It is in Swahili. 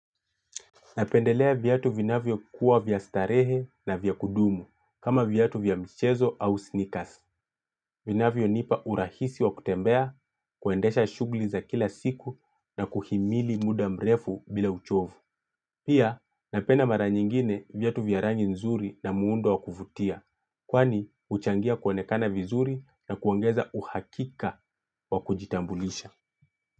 Napendelea viatu vinavyo kuwa vya starehe na vya kudumu kama viatu vya mchezo au sneakers. Vinavyo nipa urahisi wa kutembea, kuendesha shughuli za kila siku na kuhimili muda mrefu bila uchovu. Pia, napenda mara nyingine viatu vya rangi nzuri na muundo wa kuvutia. Kwani, uchangia kuonekana vizuri na kuongeza uhakika wa kujitambulisha.